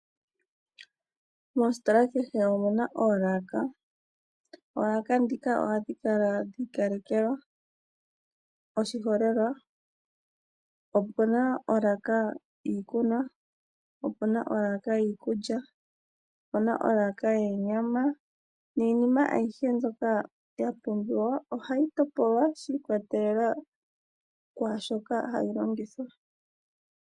Moositola kehe omuna oolaka. Oolaka ndhika ohadhi kala dhi ikalekelwa oshiholelwa opuna olaka yiikunwa, opuna olaka yiikulya, opuna olaka yoonyama niinima ayihe mbyoka ya pumbiwa ohayi topolwa shi ikolelela kwaashoka hayi longithwa